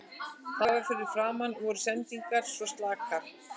Þar fyrir framan voru sendingarnar svo slakar.